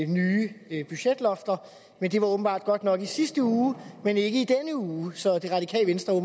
nye budgetlofter det var åbenbart godt nok i sidste uge men ikke i denne uge så det radikale venstre